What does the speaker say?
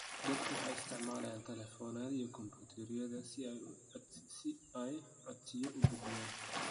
Dadku waxay isticmaalayaan telefoonada iyo kombayutarada si ay codsiyo u gudbiyaan.